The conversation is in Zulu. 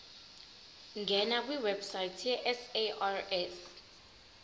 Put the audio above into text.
ngena kwiwebsite yesars